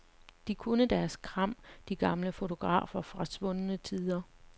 De kunne deres kram, de gamle fotografer fra svundne tider.